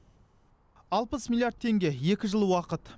алпыс миллиард теңге екі жыл уақыт